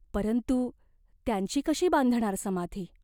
परंतु त्यांची कशी बांधणार समाधी?